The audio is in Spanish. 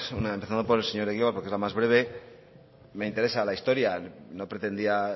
una empezando por el señor egibar porque es la más breve me interesa la historia no pretendía